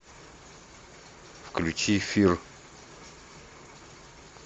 включи фир